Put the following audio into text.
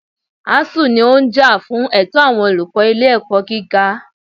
ASUU ní ó ń jà fún ẹ̀tọ́ àwọn olùkọ́ ilé ẹ̀kọ́ gíga.